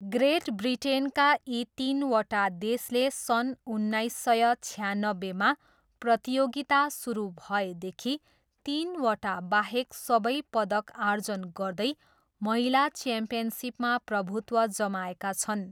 Great ब्रिटेनका यी तिनवटा देशले सन् उन्नाइस सय छयानब्बेमा प्रतियोगिता सुरु भएदेखि तिनवटाबाहेक सबै पदक आर्जन गर्दै महिला च्याम्पियनसिपमा प्रभुत्व जमाएका छन्।